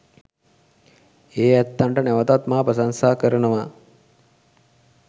ඒ ඇත්තන්ට නැවතත් මා ප්‍රශංසා කරනවා